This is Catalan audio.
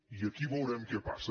i aquí veurem què passa